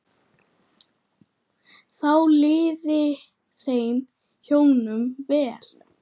Þá liði þeim hjónum vel.